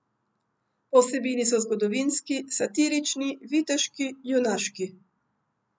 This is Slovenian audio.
Po vsebini so zgodovinski, satirični, viteški, junaški ...